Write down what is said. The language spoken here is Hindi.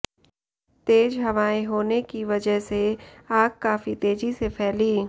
तेज हवाएं होने की वजह से आग काफी तेजी से फैली